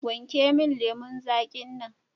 Wanke min lemun zaƙin nan.